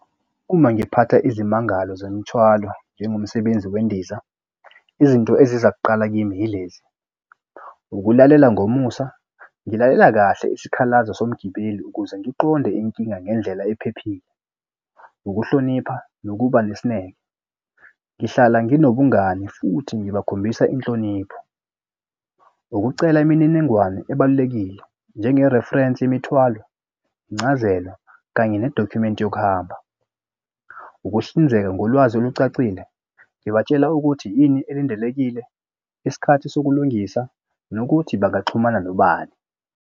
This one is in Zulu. Uma ngiphatha izimangalo zemithwalo njengomsebenzi wendiza izinto eziza kuqala kimi yilezi, ukulalela ngomusa. Ngilalela kahle isikhalazo somgibeli ukuze ngiqonde inkinga ngendlela ephephile. Ukuhlonipha nokuba nesineke, ngihlala nginobungani futhi ngibakhombisa inhlonipho. Ukucela imininingwane ebalulekile njenge-reference yemithwalo, incazelo, kanye nedokhumenti yokuhamba. Ukuhlinzeka ngolwazi olucacile, ngibatshela ukuthi yini elindelekile isikhathi sokulungisa nokuthi bangaxhumana nobani.